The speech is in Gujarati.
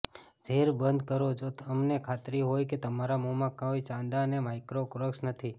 ઝેર બંધ કરો જો તમને ખાતરી હોય કે તમારા મોંમાં કોઈ ચાંદા અને માઇક્રોક્રાક્સ નથી